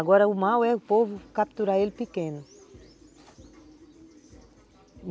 Agora o mal é o povo capturar ele pequeno.